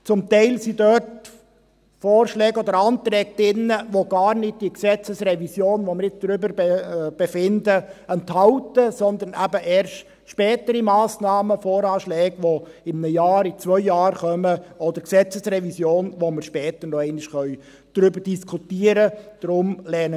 Zum Teil sind dort Vorschläge oder Anträge drin, welche gar nicht die Gesetzesrevision, über die wir befinden, betreffen, sondern eben erst spätere Massnahmen, Voranschläge, die in einem Jahr, in zwei Jahren kommen, oder die Gesetzesrevision, über die wir später nochmals diskutieren können.